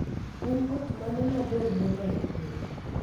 En ot mane ma bor moloyo e piny?